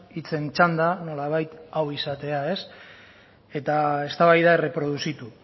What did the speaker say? hitzen txanda nolabait hau izatea eta eztabaida erreproduzitu